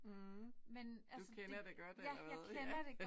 Mh du kender det godt eller hvad? Ja